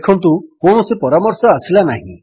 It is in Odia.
ଦେଖନ୍ତୁ କୌଣସି ପରାମର୍ଶ ଆସିଲା ନାହିଁ